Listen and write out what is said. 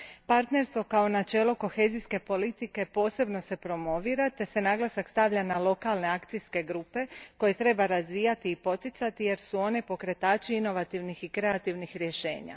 Partnerstvo kao načelo kohezijske politike posebno se promovira te se naglasak stavlja na lokalne akcijske grupe koje treba razvijati i poticati jer su one pokretači inovativnih i kreativnih rješenja.